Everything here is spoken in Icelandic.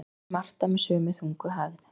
segir Marta með sömu þungu hægð.